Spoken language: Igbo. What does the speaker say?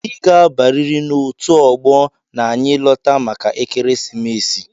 i ga abariri n'otu ọgbọ na-anyi lota màkà ekeresimesi!!!